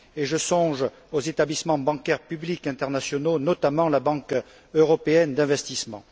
Je songe aux établissements bancaires publics internationaux, et notamment à la Banque européenne d'investissement.